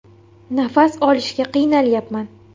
“Nafas olishga qiynalyapman”.